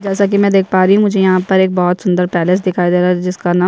जैसा की मैं देख पा रही हूँ मुझे यहाँ पर एक बहोत सुंदर पैलेस दिखाई दे रहा है जिसका ना--